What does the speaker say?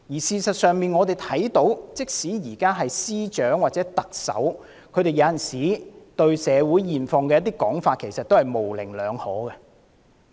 事實上，即使是司長或特首對社會現況的一些說法，也令人有模棱兩可之感。